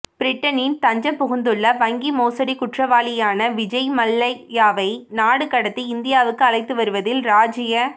பிரிட்டனில் தஞ்சம் புகுந்துள்ள வங்கி மோசடிக் குற்றவாளியான விஜய் மல்லையாவை நாடு கடத்தி இந்தியாவுக்கு அழைத்து வருவதில் ராஜீய